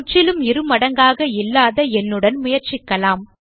முற்றிலும் இருமடங்காக இல்லாத எண்ணுடன் முயற்சிக்கலாம்